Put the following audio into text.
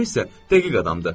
O isə dəqiq adamdır.